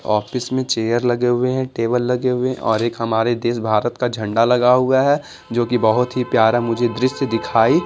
office में chair लगे हुए हैं टेबल लगे हुए हैं और एक हमारे देश भारत का झंडा लगा हुआ है जो कि बहुत ही प्यारा मुझे दृश्य दिखाई--